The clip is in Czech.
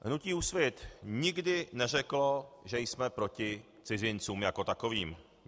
Hnutí Úsvit nikdy neřeklo, že jsme proti cizincům jako takovým.